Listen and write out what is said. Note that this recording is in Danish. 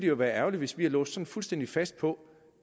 jo være ærgerligt hvis vi var låst fuldstændig fast på